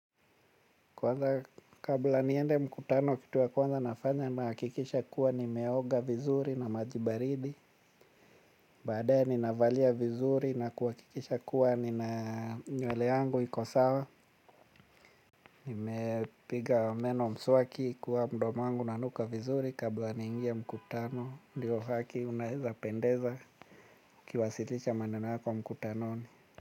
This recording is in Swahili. Kwanza kabla niende mkutano kitu ya kwanza nafanya na hakikisha kuwa ni me oga vizuri na majibaridi. Baadae ni ninavalia vizuri na kuhakikisha kuwa ni na nywele yangu iko sawa. Nime piga meno mswaki kuwa mdo wangu unanuka vizuri kabla nyingia mkutano. Ndiyo haki unaeza pendeza ukiwasilisha maneno kwa mkutano ni.